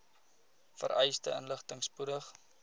vereiste inligting spoedig